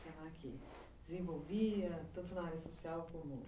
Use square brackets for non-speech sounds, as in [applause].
[unintelligible] Desenvolvia, tanto na área social como...